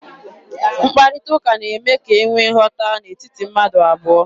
Mkparịta ụka na-eme ka e nwee nghọta n'etiti mmadụ abụọ.